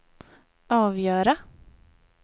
avgöra